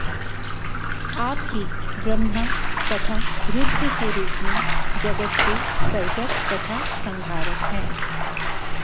आप ही ब्रह्मा तथा रुद्र के रूप में जगत् के सर्जक तथा संहारक हैं